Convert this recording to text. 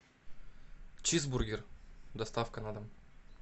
чизбургер доставка на дом